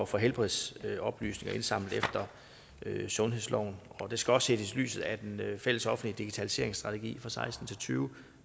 for helbredsoplysninger indsamlet efter sundhedsloven og det skal også ses i lyset af den fællesoffentlige digitaliseringsstrategi for seksten til tyve